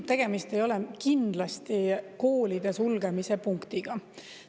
Tegemist ei ole kindlasti koolide sulgemise punktiga.